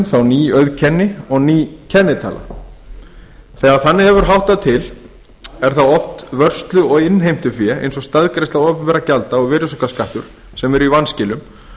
þá ný auðkenni og ný kennitala þegar þannig hefur háttað til er það oft vörslu og innheimtufé eins og staðgreiðsla opinberra gjalda og virðisaukaskattur sem er í vanskilum